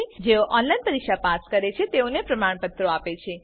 જેઓ ઓનલાઈન પરીક્ષા પાસ કરે છે તેઓને પ્રમાણપત્રો આપે છે